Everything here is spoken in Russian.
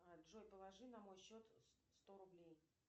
джой положи на мой счет сто рублей